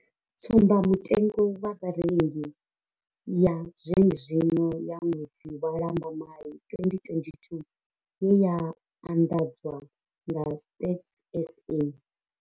Tsumba mutengo wa Vharengi ya zwene zwino ya ṅwedzi wa Lambamai 2022 ye ya anḓadzwa nga Stats SA.